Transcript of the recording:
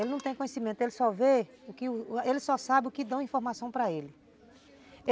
Ele não tem conhecimento, ele só vê, ele só sabe o que dão informação para ele.